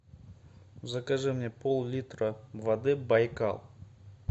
закажи мне поллитра воды байкал